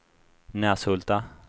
Näshulta